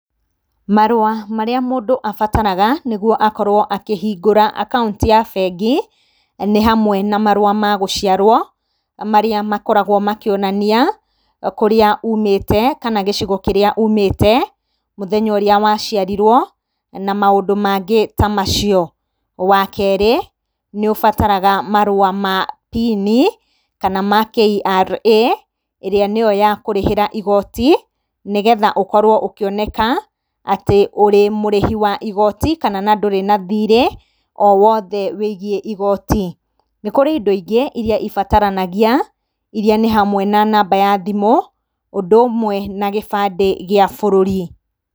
Marũa marĩa mũndũ abataraga nĩguo akorwo akĩhingũra akaũnti ya bengi, nĩ hamwe na marũa ma gũciarwo marĩa makoragwo makĩonania kũrĩa ũmĩte, kana gĩcigo kĩrĩa umĩte, mũthenya ũrĩa waciarirwo na maũndũ mangĩ ta macio. Wa kerĩ, nĩ ũbataraga marũa ma pini kana ma KRA kana nĩyo ya kũrĩhĩra igoti, nĩgetha ũkorwo ũkĩoneka atĩ ũrĩ mũrĩhi wa igoti, na kana ndũrĩ na thirĩ o wothe wĩgiĩ igoti. Nĩ kũrĩ indo ingĩ irĩa ibataranagia irĩa nĩ namba ya thimũ ũndũ ũmwe na gĩbandĩ gĩa bũrũri.